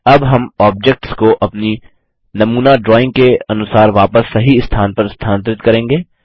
अब हम ऑब्जेक्ट्स को अपनी नमूना ड्राइंग के अनुसार वापस सही स्थान पर स्थानांतरित करेंगे